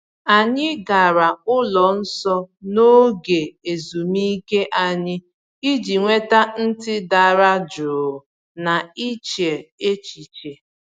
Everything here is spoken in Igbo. Anyị gara ụlọ nsọ n’oge ezumike anyị iji nweta ntị dara jụụ na iche echiche.